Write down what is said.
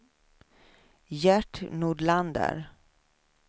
Gert Nordlander